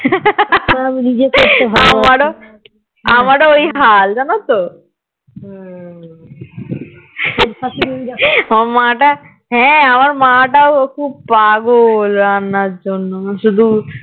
আমারও আমারও ওই হাল জানাতো আমার মা টা হ্যাঁ আমার মা টাও খুব পাগল রান্নার জন্যে শুধু